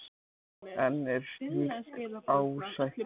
En er slíkt ásættanlegt?